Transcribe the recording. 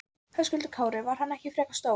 Höskuldur Kári: Var hann ekki frekar stór?